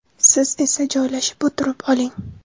Siz esa joylashib o‘tirib oling.